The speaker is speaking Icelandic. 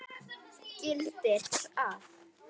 gildir að